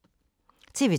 TV 2